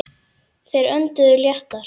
Þeir önduðu léttar.